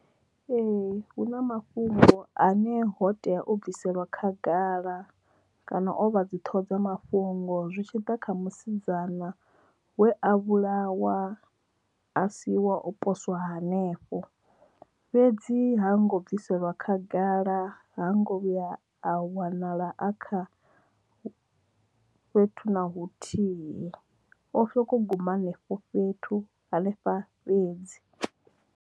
Ee hu na mafhungo ane ho tea o bviselwa khagala kana ovha dzi ṱhoho dza mafhungo zwi tshiḓa kha musidzana we a vhulawa a si wa o poswa hanefho fhedzi ha ngo bvisela khagala ha ngo vhuya a wanala a kha fhethu na huthihi o kho guma henefho fhethu hanefha fhedzi.